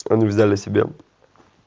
они взяли себе